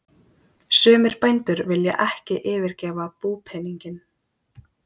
Sumir bændur vilja ekki yfirgefa búpeninginn.